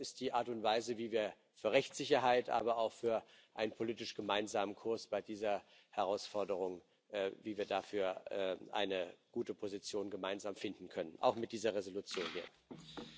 Ich glaube, das ist die Art und Weise, wie wir für Rechtssicherheit, aber auch für einen politisch gemeinsamen Kurs bei dieser Herausforderung sorgen und wie wir dafür gemeinsam eine gute Position finden können auch mit dieser Entschließung.